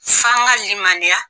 F'an ka limaniya